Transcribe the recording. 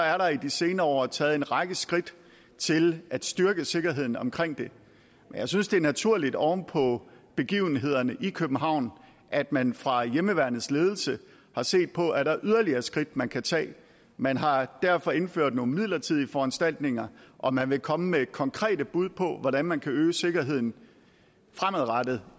er der i de senere år taget en række skridt til at styrke sikkerheden omkring det jeg synes det er naturligt oven på begivenhederne i københavn at man fra hjemmeværnets ledelse har set på om der er yderligere skridt man kan tage man har derfor indført nogle midlertidige foranstaltninger og man vil komme med konkrete bud på hvordan man kan øge sikkerheden fremadrettet